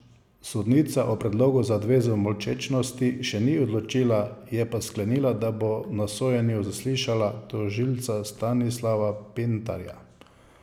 Sodnica o predlogu za odvezo molčečnosti še ni odločila, je pa sklenila, da bo na sojenju zaslišala tožilca Stanislava Pintarja.